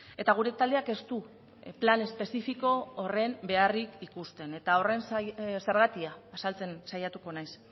eta gure taldeak ez du plan espezifiko horren beharrik ikusten eta horren zergatia azaltzen saiatuko naiz